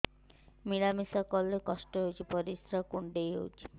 ମିଳା ମିଶା କଲେ କଷ୍ଟ ହେଉଚି ପରିସ୍ରା କୁଣ୍ଡେଇ ହଉଚି